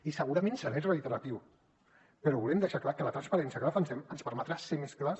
i segurament seré reiteratiu però volem deixar clar que la transparència que defensem ens permetrà ser més clars